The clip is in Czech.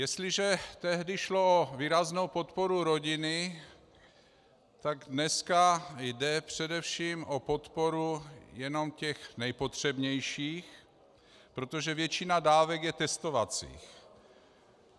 Jestliže tehdy šlo o výraznou podporu rodiny, tak dneska jde především o podporu jenom těch nejpotřebnějších, protože většina dávek je testovacích.